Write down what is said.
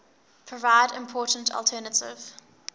provide important alternative